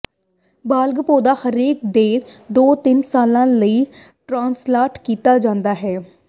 ਬਾਲਗ ਪੌਦਾ ਹਰੇਕ ਦੋ ਤੋਂ ਤਿੰਨ ਸਾਲਾਂ ਲਈ ਟ੍ਰਾਂਸਪਲਾਂਟ ਕੀਤਾ ਜਾਂਦਾ ਹੈ